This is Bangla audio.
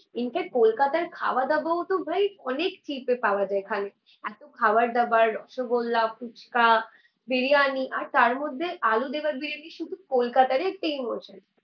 ইনফ্যাক্ট কলকাতার খাওয়া দাওয়াও তো ভাই অনেক চিপে পাওয়া যায় এখানে। এতো খাওয়ার দাওয়ার, রসগোল্লা, ফুচকা, বিরিয়ানি আর তারমধ্যে আলু দেওয়া বিরিয়ানি শুধু কলকাতারই একটা ইমোশন